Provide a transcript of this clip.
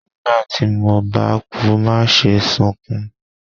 nígbà tí mo ba kú maṣe sunkún!